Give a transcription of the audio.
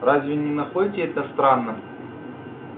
разве не находите это странным